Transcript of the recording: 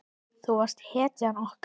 Þú varst hetjan okkar.